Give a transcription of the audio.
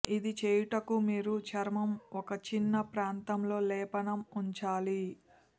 ఇది చేయుటకు మీరు చర్మం ఒక చిన్న ప్రాంతంలో లేపనం ఉంచాలి